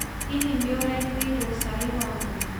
Hihi nĩũretĩirwo cai wa mwana?